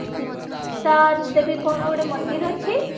ସେଇ ଚିତାନ ଦେବୀ କଣ ଗୋଟେ ମନ୍ଦିର ଅଛି